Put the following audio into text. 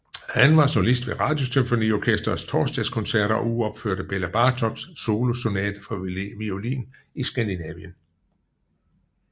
Han var solist ved Radiosymfoniorkestrets torsdagkoncerter og uropførte Bela Bartoks solosonate for violin i Skandinavien